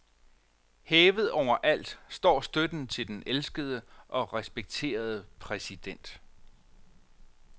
Hævet over alt står støtten til den elskede og respekterede præsident.